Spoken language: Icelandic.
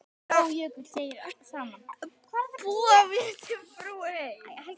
Búa mér til brú heim.